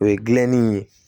O ye gilanni ye